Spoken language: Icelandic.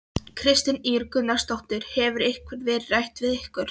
Kristín Ýr Gunnarsdóttir: Hefur eitthvað verið rætt við ykkur?